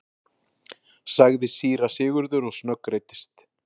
sagði síra Sigurður og snöggreiddist.